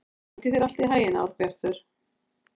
Gangi þér allt í haginn, Árbjartur.